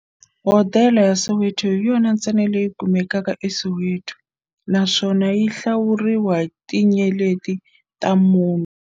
Hodela ya Soweto hi yona ntsena leyi kumekaka eSoweto, naswona yi hlawuriwa hi tinyeleti ta mune.